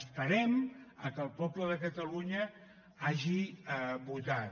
esperem que el poble de catalunya hagi votat